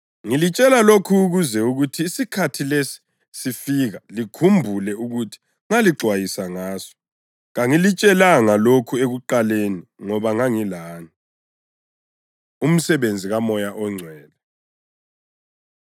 Ngilitshela lokhu ukuze kuthi isikhathi lesi sifika likhumbule ukuthi ngalixwayisa ngaso. Kangilitshelanga lokhu ekuqaleni ngoba ngangilani.” Umsebenzi KaMoya ONgcwele